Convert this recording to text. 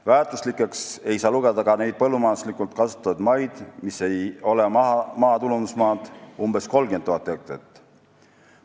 Väärtuslikeks ei saa lugeda ka neid põllumajanduslikult kasutatavaid maid, mis ei ole maatulundusmaad, umbes 30 000 hektarit.